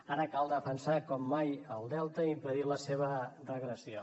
ara cal defensar com mai el delta i impedir la seva regressió